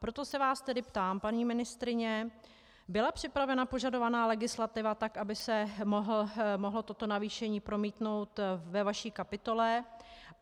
Proto se vás tedy ptám, paní ministryně: Byla připravena požadovaná legislativa tak, by se mohlo toto navýšení promítnout ve vaší kapitole?